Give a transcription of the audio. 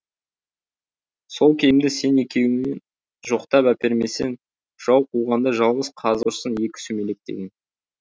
сол кемді сен екеуің жоқтап әпермесең жау қуғанда жалғыз қазық ұрсын екі сүмелек деген